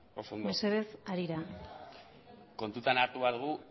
mesedez harira kontutan hartu behar dugu